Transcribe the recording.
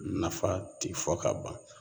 Nafa ti fɔ ka ban